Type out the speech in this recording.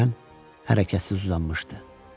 Kürən hərəkətsiz uzanmışdı.